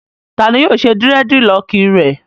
Ta ni yóò ṣe dírẹ́dilọọkì rẹ?